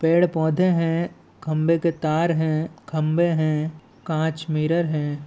पेड़ -पौधे हैं खंभे के तार हैं खंभे है कांच मिरर हैं।